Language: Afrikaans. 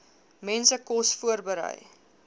mense kos voorberei